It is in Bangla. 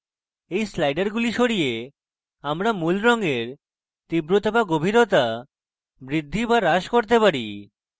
by স্লাইডারগুলি সরিয়ে আমরা মূল রঙের তীব্রতা by গভীরতা বৃদ্ধি by হ্রাস করতে পারি